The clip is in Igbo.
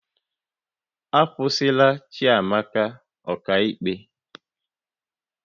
Akwụsịla Chiamaka ọka ikpe